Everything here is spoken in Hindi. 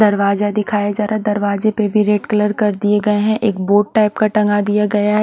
दरवाज़ा दिखाया जा रहा है दारवाज़े पे भी रेड कलर कर दिए गये है एक बोर्ड टाइप का टंगा दिया गया है।